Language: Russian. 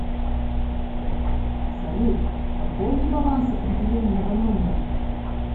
салют пополни баланс определенного номера